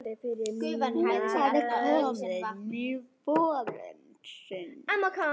Hún var komin í bolinn aftur.